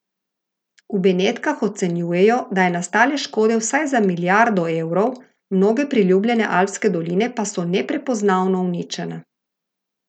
V Benetkah ocenjujejo, da je nastale škode vsaj za milijardo evrov, mnoge priljubljene alpske doline pa so neprepoznavno uničene.